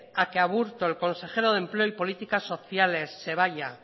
a que aburto el consejero de empleo y políticas sociales se vaya